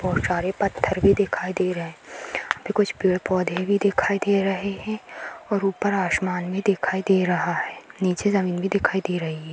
बहुत सारे पथर भी दिखाई दे रहे है कुछ पेड़ पौधे भी दिखाई दे रहे हैं और ऊपर आसमान भी दिखाई दे रहा है नीचे जमीन भी दिखाई दे रही है।